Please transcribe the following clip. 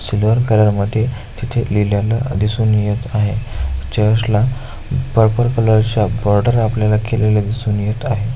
समोर तळ्यामध्ये तिथे दिसून येत आहे चर्च ला परपल कलर च्या बॉर्डर आपल्याला केलेल्या दिसून येत आहे.